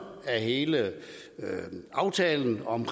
af hele aftalen om